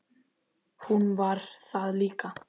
Hún var það líka.